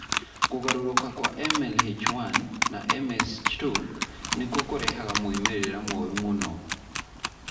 Kũgarũrũka kwa MLH1 na MSH2 nĩkuo kũrehaga moimĩrĩro moru mũno.